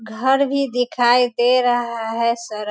घर भी दिखाई दे रहा है सारा --